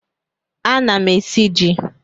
Ana m esi ji.